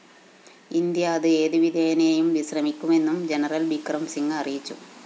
India അത് ഏതുവിധേനയും ശ്രമിക്കുമെന്നും ജനറൽ ബിക്രം സിംഗ് അറിയിച്ചു